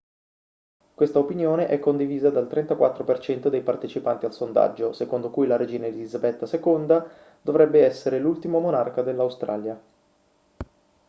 questa opinione è condivisa dal 34% dei partecipanti al sondaggio secondo cui la regina elisabetta ii dovrebbe essere l'ultimo monarca dell'australia